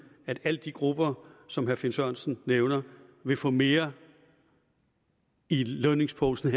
at alle de grupper som herre finn sørensen nævner vil få mere i lønningsposen